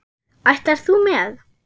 Ætlar þú með?